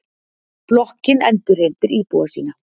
Blokkin endurheimtir íbúa sína.